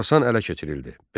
Xorasan ələ keçirildi.